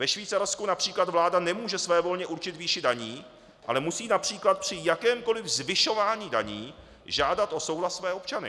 Ve Švýcarsku například vláda nemůže svévolně určit výši daní, ale musí například při jakémkoliv zvyšování daní žádat o souhlas své občany.